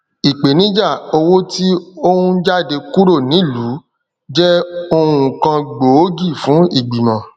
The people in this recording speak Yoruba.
ipenija owo ti o n jade kuro niluu je ohun kan gboogi fun igbimọ̀